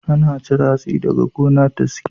Ana cire hatsi daga gona da sikila.